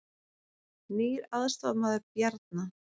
Nýr aðstoðarmaður Bjarna